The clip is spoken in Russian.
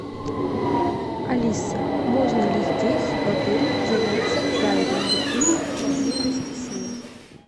алиса можно ли здесь в отеле заняться дайвингом или поблизости с ним